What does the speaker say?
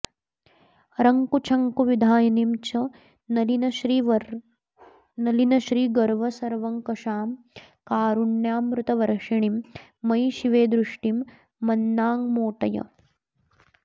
रङ्कूच्छङ्कुविधायिनीं च नलिनश्रीगर्वसर्वङ्कषां कारुण्यामृतवर्षिणीं मयि शिवे दृष्टिं मनाङ्मोटय